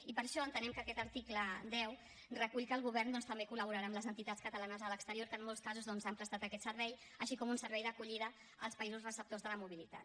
i per això entenem que aquest article deu recull que el govern doncs també col·laborarà amb les entitats catalanes a l’exterior que en molts casos han prestat aquest servei així com un servei d’acollida als països receptors de la mobilitat